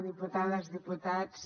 diputades diputats